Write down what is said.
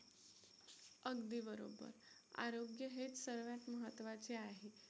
अगदी बरोबर, आरोग्य हेच सगळ्यात महत्त्वाचे आहे.